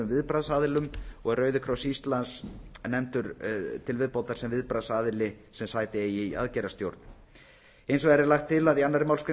viðbragðsaðilum og er rauði kross íslands nefndur til viðbótar sem viðbragðsaðili sem eigi sæti í aðgerðastjórn hins vegar er lagt til að í annarri málsgrein